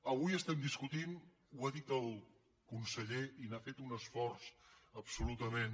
avui estem discutint ho ha dit el conseller i n’ha fet un esforç absolutament